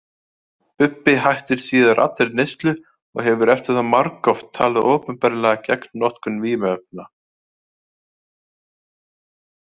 Bubbi hætti síðar allri neyslu og hefur eftir það margoft talað opinberlega gegn notkun vímuefna.